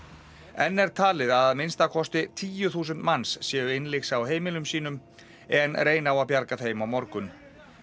enn er talið að minnsta kosti tíu þúsund manns séu innlyksa á heimilum sínum en reyna á að bjarga þeim á morgun